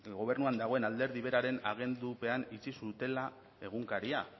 gobernuan dagoen alderdi beraren agindupean itxi zutela egunkaria